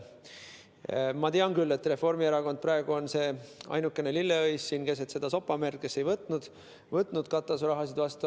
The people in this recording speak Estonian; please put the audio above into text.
Ma tean küll, et Reformierakond on praegu see ainukene lilleõis keset sopamerd, kes ei võtnud katuseraha vastu.